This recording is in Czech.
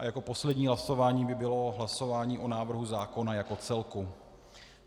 A jako poslední hlasování by bylo hlasování o návrhu zákona jako celku.